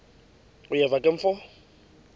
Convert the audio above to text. uyeva ke mfo